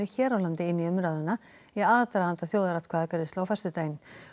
hér á landi inn í umræðuna í aðdraganda þjóðaratkvæðagreiðslu á föstudaginn